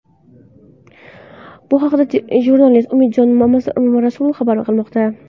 Bu haqda jurnalist Umidjon Mamarasulov xabar qilmoqda.